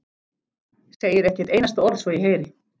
Segir ekki eitt einasta orð svo ég heyri.